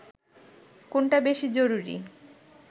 কোনটা বেশি জরুরি